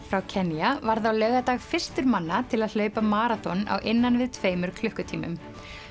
frá Kenía varð á laugardag fyrstur manna til að hlaupa maraþon á innan við tveimur klukkutímum